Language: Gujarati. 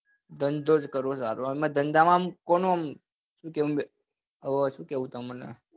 control કરું આમ ધંધા માં આમ કોનું આમ હવે શું કેવું તમને